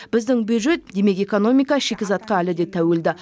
біздің бюджет демек экономика шикізатқа әлі де тәуелді